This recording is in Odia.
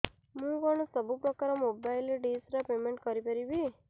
ମୁ କଣ ସବୁ ପ୍ରକାର ର ମୋବାଇଲ୍ ଡିସ୍ ର ପେମେଣ୍ଟ କରି ପାରିବି